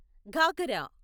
ghagra